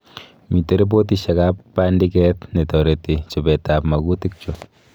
Mite repotishek ak bandiket netoreti chobeteab magutik chu